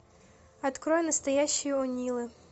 открой настоящие о нилы